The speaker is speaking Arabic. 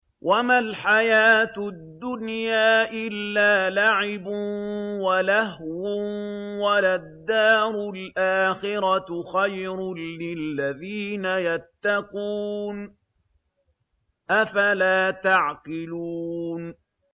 وَمَا الْحَيَاةُ الدُّنْيَا إِلَّا لَعِبٌ وَلَهْوٌ ۖ وَلَلدَّارُ الْآخِرَةُ خَيْرٌ لِّلَّذِينَ يَتَّقُونَ ۗ أَفَلَا تَعْقِلُونَ